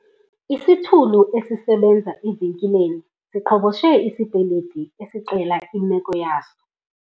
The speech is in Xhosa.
Isithulu esisebenza evenkileni siqhoboshe isipeliti esixela imeko yaso.